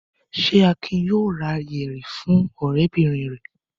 Ṣé Akin yóò ra yẹ̀rì fún ọ̀rẹ́bìnrin rẹ̀?